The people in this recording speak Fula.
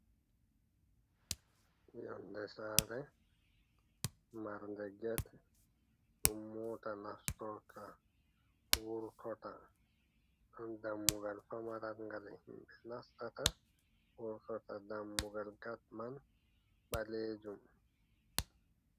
Yonde sare marde gete ɗum mota nastorta, vurtorta. Dammugal famaralgal gal himɓɓe nastata, wurtota dammugal gat man ɓalejum.